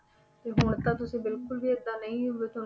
ਤੇ ਹੁਣ ਤਾਂ ਤੁਸੀਂ ਬਿਲਕੁਲ ਵੀ ਏਦਾਂ ਨਹੀਂ